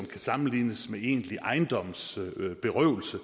kan sammenlignes med egentlig ejendomsberøvelse